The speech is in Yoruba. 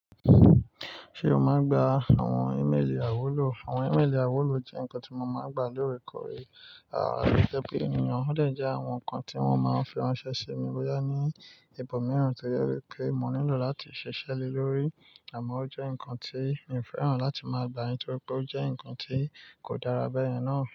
Ṣé o máa ń gba àwọn í mélì àwúlò? Àwọn í mélì àwúlò jẹ́ nǹkan tí mo máa ń gba lóòrèkóòrè, àrá ló jẹ́ pé ènìyàn ó lè jẹ àwọn nǹkan tí wọ́n máa ń fi ránṣẹ́ sí mi bóyá ní ìbò mìíràn tó yẹ pé mo nílò láti ṣiṣẹ́ lé lórí, àmọ́ ó jẹ́ nǹkan tí mi ò fẹ́ràn láti máa gbà á nítorí pé ó jẹ́ nǹkan tí kò dára bẹ́ẹ̀yen na.